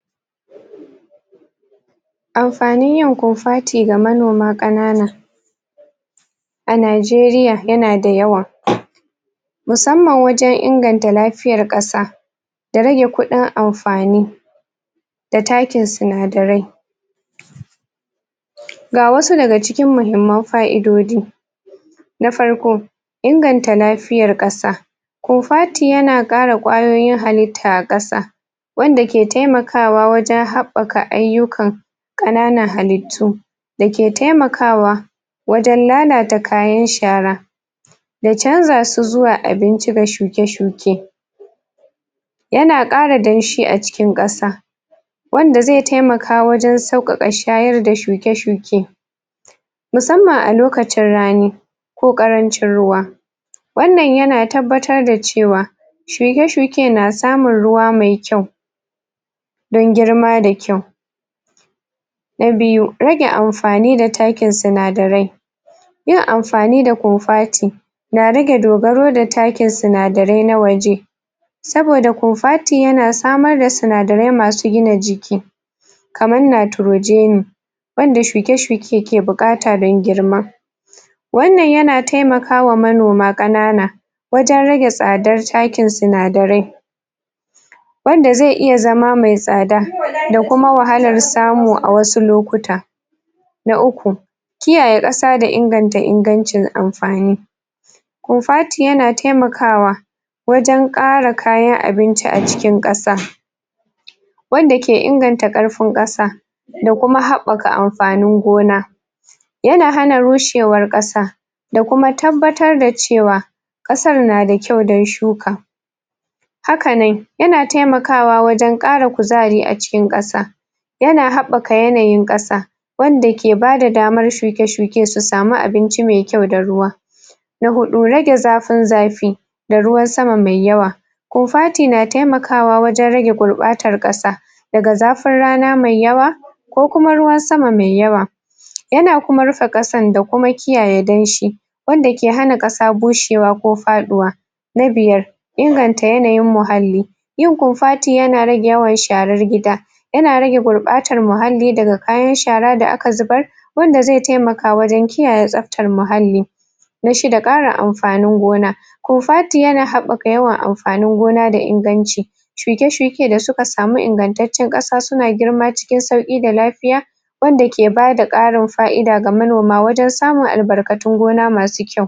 Amfanin yin kofati ga manoma ƙanana a Najeriya yana da yawa musamman wajen inganta lafiyar ƙasa da rage kuɗin amfani da takin sinadarai ga wasu daga cikin muhimman fa'idojin na farko, inganta lafiyar ƙasa kofati yana ƙara ƙwayoyin halitta a ƙasa wanda ke taimakawa wajen haɓɓaka ayyuka ƙananan halittu da ke taimakawa wajen lalata kayan shara ya canza su zuwa abinci ga shuke-shuke yana ƙara danshi a cikin ƙasa wanda zai taimaka wajen sauƙaƙa shayar da shuke-shuke musamman a lokacin rani ko ƙarancin ruwa wannan yana tabbatar da cewa shuke-shuke na samun ruwa mai kyau dan girma da kyau na biyu, rage amfani da takin sinadarai yin amfani da kofati na rage dogaro da takin sinadarai na waje saboda kofati yana samar da sinadarai masu gina jiki kaman nitrogeni wanda shuke-shuke ke buƙata dan girma wannan yana taimakawa manoma ƙanana wajen rage tsadar takin sinadarai wanda zai iya zama mai tsada da kuma wahalar samu a wasu lokuta na uku, kiyaye ƙasa da inganta ingancin amfani kofati yana taimakawa wajen ƙara kayan abinci a cikin ƙasa wanda ke inganta ƙarfin ƙasa da kuma haɓɓaka amfanin gona yana hana rushewar ƙasa da kuma tabbatar da cewa ƙasar na da kyau dan shuka haka nan yana taimakawa wajen ƙara kuzari a cikin ƙasa yana haɓɓaka yanayin ƙasa wanda ke bada damar shuke-shuke su samu abinci mai kyau da ruwa na huɗu, rage zafin zafi da ruwan sama mai yawa kofati na taimakawa wajen rage gurɓatar ƙasa daga zafin rana mai yawa ko kuma ruwan sama mai yawa yana kuma rufe ƙasan da kuma kiyaye danshi wanda ke hana ƙasa bushewa ko faɗuwa na biyar, inganta yanayin muhalli yin kofati yana rage yawan sharar gida yana rage gurɓatar muhalli daga kayan shara da aka zubar wanda zai taimaka wajen kiyaye tsabtar mahalli na shida, ƙarin amfanin gona kofati yana haɓɓaka yawan amfanin gona da inganci shuke-shuke da suka samu ingantaccen ƙasa suna girma cikin sauƙi da lafiya wanda ke bada ƙarin fa'ida ga manoma wajen samun albarkatun gona masu kyau.